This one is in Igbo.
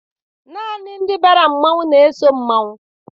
Naanị ndị bara mmanwụ na-eso mmanwụ.